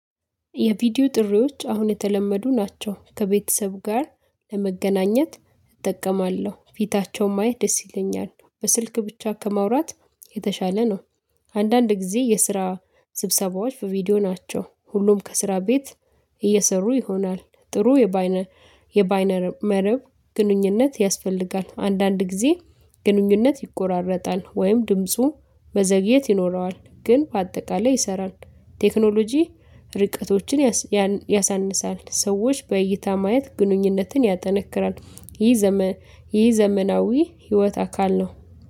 የቪዲዮ ጥሪዎች አሁን የተለመዱ ናቸው ከቤተሰብ ጋር ለመገናኘት እጠቀማለሁ ፊታቸውን ማየት ደስ ይለኛል በስልክ ብቻ ከማውራት የተሻለ ነው። አንዳንድ ጊዜ የስራ ስብሰባዎች በቪዲዮ ናቸው። ሁሉም ከስራ ቤት እየሰሩ ይሆናል። ጥሩ የባይነ የባይነ መረብ ግንኙነት ያስፈልጋል። አንዳንድ ጊዜ ግንኙነት ይቆራረጣል ወይም ድምፁ መዘግየት ይኖረዋል ግን በአጠቃላይ ይሰራል። ቴክኖሎጂ ርቀቶችን ያሳንሳል። ሰዎች በእይታ ማየት ግንኙነትን ያጠነክራል። ይህ ዘመን ይህ ዘመናዊ ህይወት አካል ነው